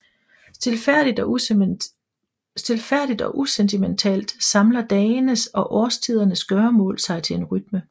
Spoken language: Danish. Stilfærdigt og usentimentalt samler dagenes og årstidernes gøremål sig til en rytme